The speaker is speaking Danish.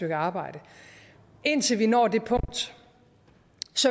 et arbejde indtil vi når det punkt